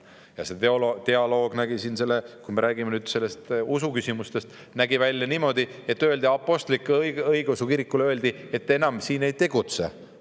Ja see dialoog, kui me räägime nüüd usuküsimustest, nägi välja niimoodi, et öeldi apostlik-õigeusu kirikule: "Te enam siin ei tegutse.